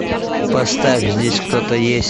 поставь здесь кто то есть